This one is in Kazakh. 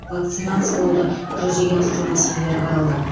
вакцинациялауды жүзеге асыру мәселелері қаралды